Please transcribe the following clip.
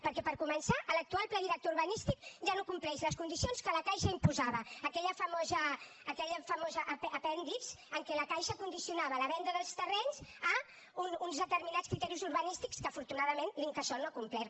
perquè per començar l’actual pla director urbanístic ja no compleix les condicions que la caixa imposava aquell famós apèndix en què la caixa condicionava la venda dels terrenys a uns determinats criteris urbanístics que afortunadament l’incasòl no ha complert